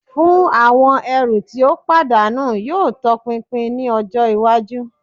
Fun awọn ẹru ti o padanu yoo tọpinpin ni ọjọ iwaju